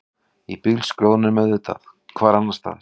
Í bílskrjóðnum auðvitað, hvar annarstaðar?